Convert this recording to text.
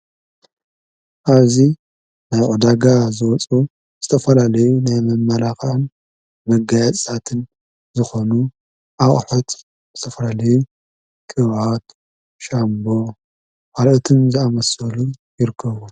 ኣዚ ናይ ቕዳጋ ዝወፁ ዝተፈላሌዩ ናይመመራኽን መጋያጽትን ዝኾኑ ኣብኣሐት ዝተፈረሌዩ ክውት ሻምቦ ሃልኦትን ዝኣመስሉ ይርክዎን።